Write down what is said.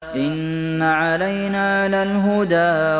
إِنَّ عَلَيْنَا لَلْهُدَىٰ